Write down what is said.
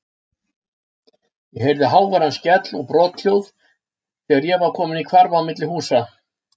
Ég heyrði háværan skell og brothljóð þegar ég var kominn í hvarf á milli húsa.